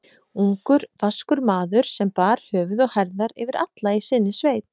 Ungur, vaskur maður, sem bar höfuð og herðar yfir alla í sinni sveit.